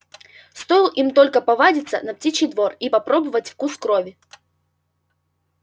стоил им только повадиться на птичий двор и попробовать вкус крови